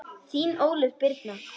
Þín Ólöf Birna.